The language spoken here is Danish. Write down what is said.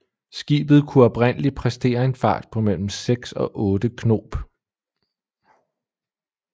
Skibet kunne oprindeligt præstere en fart på mellem 6 og 8 knob